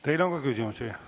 Teile on ka küsimusi.